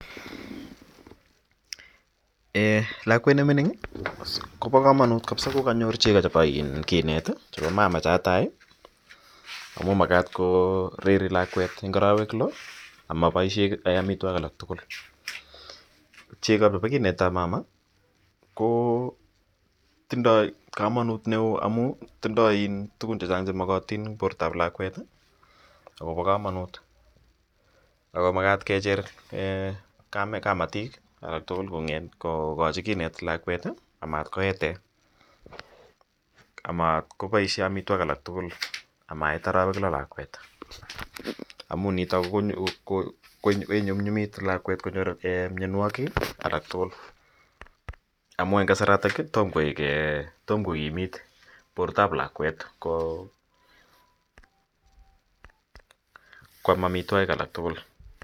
Eeh lakwet neming'in kobokomonut ko konyor chekab kinet chebo mama chetai amun makaat koreri lakwet en arawek loo amaboishe amitwokik alak tukul, chekab bo kinetab mama ko tindoi komonut neoo amun tindoi tukuk chechang chemokotin en bortab lakwet chebo komonut ak ko makat kecher kamatik aketukul kokochi kinet amat koeten, amat koboishen amitwokik alak tukul amait arawek loo lakwet amun niton kinyumnyumit konyor lakwet mionwokik alak tukul amun en kasaratonkkotom ko kimiit bortab lakwet kwam amitwokik alak tukul.